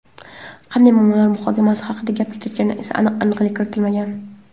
Qanday muammolar muhokamasi haqida gap ketayotganiga esa aniqlik kiritilmagan.